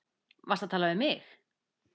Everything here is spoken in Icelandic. Varstu að tala við mig?